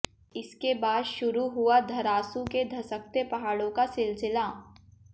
इसके बाद शुरू हुआ धरासू के धसकते पहाड़ों का सिलसिला